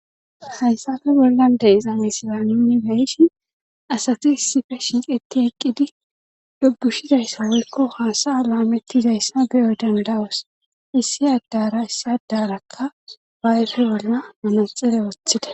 hayssafe bollan de izame sila uni xeeishin asati issife shiqeti eqqidi dubushizayssa wolkko haasaya laamettizayssa beyoy dandawos issi addara issi addarakka baayfe bolla manaxire woththida